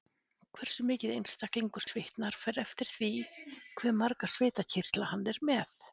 Hversu mikið einstaklingur svitnar fer eftir því hve marga svitakirtla hann er með.